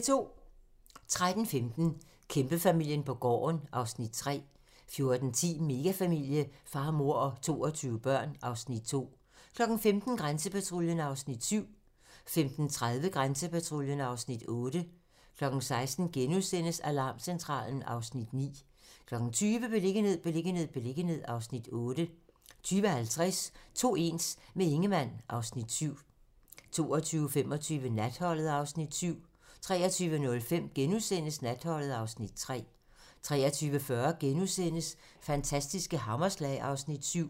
13:15: Kæmpefamilien på gården (Afs. 3) 14:10: Megafamilie - far, mor og 22 børn (Afs. 2) 15:00: Grænsepatruljen (Afs. 7) 15:30: Grænsepatruljen (Afs. 8) 16:00: Alarmcentralen (Afs. 9)* 20:00: Beliggenhed, beliggenhed, beliggenhed (Afs. 8) 20:50: To ens - med Ingemann (Afs. 7) 22:25: Natholdet (Afs. 7) 23:05: Natholdet (Afs. 3)* 23:40: Fantastiske hammerslag (Afs. 7)*